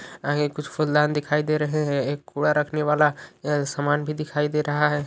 आगे कुछ फूलदान दिखाई दे रहे हैं एक कूड़ा रखने वाला सामान भी दिखाई दे रहा है।